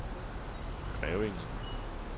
Grevinge